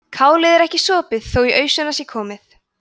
kálið er ekki sopið þó í ausuna sé komið